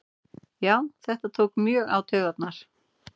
Já þetta tók mjög á taugarnar